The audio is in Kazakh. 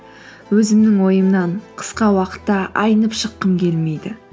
өзімнің ойымнан қысқа уақытта айнып шыққым келмейді